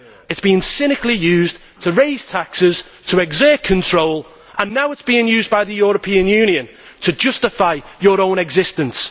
It is being cynically used to raise taxes, to exert control, and now it is being used by the European Union to justify its own existence.